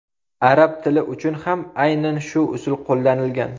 Arab tili uchun ham aynan shu usul qo‘llanilgan.